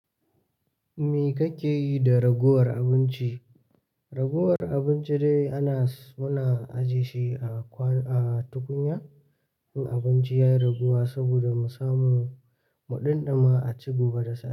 Me kake yi da raguwar abinci? Raguwar abinci dai ana, muna ajiye shi a kwan, a tukunya in abinci ya yi raguwa saboda mu samu muɗimɗima a ci gobe da safe.